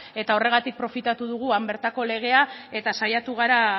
eta horregatik profitatu dugu han bertako legea eta saiatu gara